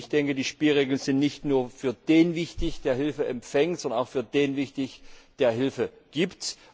Ich denke, die Spielregeln sind nicht nur für den wichtig, der Hilfe empfängt, sondern auch für den, der Hilfe gibt.